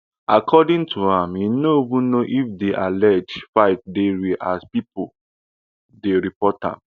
according to am e no even know if di alleged fight dey real as pipo dey report am